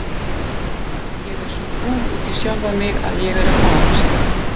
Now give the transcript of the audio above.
Ég er svo fúl út í sjálfa mig að ég er að farast!